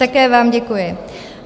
Také vám děkuji.